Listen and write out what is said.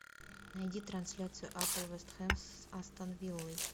найди трансляцию апл вест хэм с астон виллой